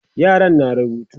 yaran na rubutu